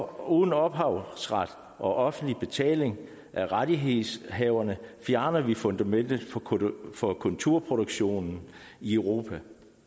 uden ophavsret og offentlig betaling af rettighedshaverne fjerner vi fundamentet for kulturproduktionen i europa